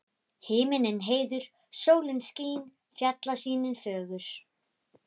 Himinninn heiður, sólin skín, fjallasýnin fögur.